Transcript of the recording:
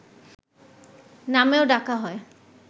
নামেও ডাকা হয়